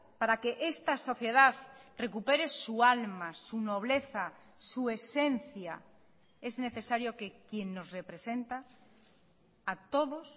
para que esta sociedad recupere su alma su nobleza su esencia es necesario que quien nos representa a todos